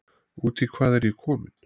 Út í hvað er ég kominn?